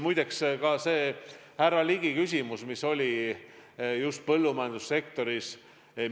Härra Ligi küsis siin just põllumajandussektori kohta.